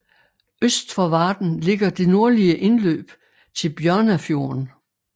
Øst for Varden ligger det nordlige indløb til Bjørnafjorden